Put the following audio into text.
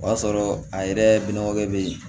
O y'a sɔrɔ a yɛrɛ minɛw bɛ yen